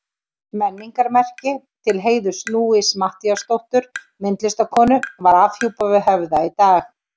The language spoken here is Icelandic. Menningarmerki til heiðurs Louisu Matthíasdóttur myndlistarkonu var afhjúpað við Höfða í dag.